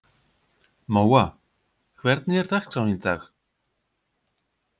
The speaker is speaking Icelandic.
Móa, hvernig er dagskráin í dag?